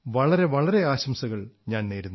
വളരെ വളരെ ആശംസകൾ എന്റെ വക